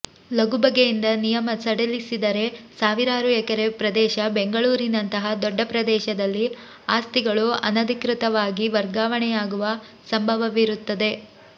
ಲಗು ಬಗೆಯಿಂದ ನಿಯಮ ಸಡಿಲಿಸಿದರೆ ಸಾವಿರಾರು ಎಕರೆ ಪ್ರದೇಶ ಬೆಂಗಳೂರಿನಂತಹ ದೊಡ್ಡ ಪ್ರದೇಶದಲ್ಲಿ ಆಸ್ತಿಗಳು ಅನಧಿಕೃತವಾಗಿ ವರ್ಗಾವಣೆಯಾಗುವ ಸಂಬವವಿರುತ್ತದೆ